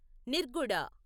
నిర్గుడ